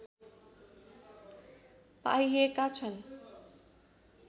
पाइएका छन्